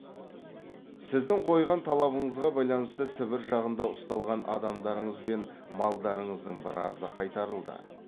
сіздің қойған талабыңызға байланысты сібір жағында ұсталған адамдарыңыз бен малдарыңыздың біразы қайтарылды